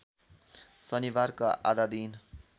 शनिबारको आधा दिन